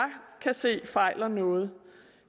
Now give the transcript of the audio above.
kan se fejler noget